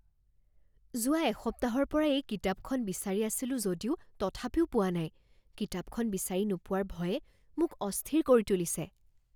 যোৱা এসপ্তাহৰ পৰা এই কিতাপখন বিচাৰি আছিলো যদিও তথাপিও পোৱা নাই। কিতাপখন বিচাৰি নোপোৱাৰ ভয়ে মোক অস্থিৰ কৰি তুলিছে।